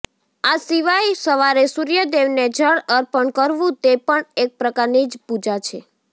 આ સિવાય સવારે સૂર્યદેવને જળ અર્પણ કરવું તે પણ એક પ્રકારની પૂજા જ છે